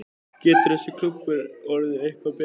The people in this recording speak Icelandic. Getur þessi klúbbur orðið eitthvað betri?